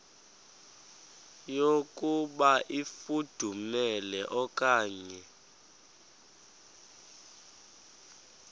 yokuba ifudumele okanye